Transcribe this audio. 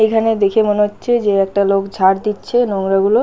এখানে দেখে মনে হচ্ছে যে একটা লোক ঝাঁট দিচ্ছে নোংরা গুলো।